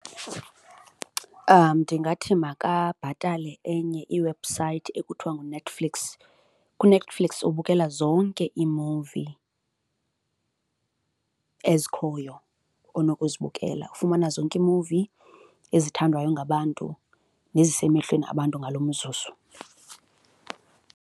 Ndingathi makabhatale enye iwebhusayithi ekuthiwa nguNetflix. KuNetflix ubukela zonke iimuvi ezikhoyo onokuzibukela, ufumana zonke iimuvi ezithandwayo ngabantu nezisemehlweni abantu ngalo umzuzu.